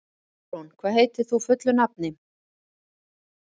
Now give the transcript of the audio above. Dagrún, hvað heitir þú fullu nafni?